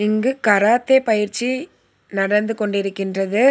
இங்கு கராத்தே பயிற்சி நடந்து கொண்டிருக்கின்றது.